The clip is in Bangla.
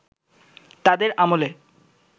তাদের আমলে